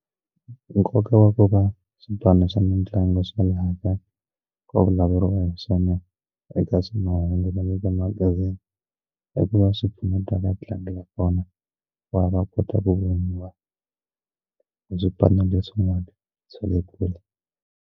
Nkoka wa ku va swipano swa mitlangu swa laha kaya ku vulavuriwa hi swona eka swi mahungu na le ka timagazini i ku va swipfuneta vatlangi va kona ku va va kota ku voniwa hi swipano leswin'wana swa le kule.